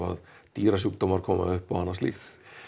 dýrasjúkdómar koma upp og annað slíkt